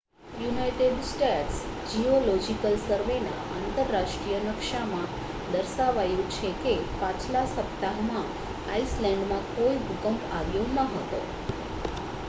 United States Geological સર્વેના આંતરરાષ્ટ્રીય નકશામાં દર્શાવાયું છે કે પાછલા સપ્તાહમાં આઇસલૅન્ડમાં કોઈ ભૂકંપ આવ્યો ન હતો